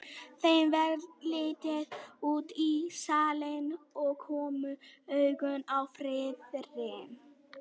Þeim verður litið út í salinn og koma auga á Friðrik.